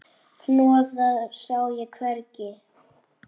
Hnoðað sá ég hvergi.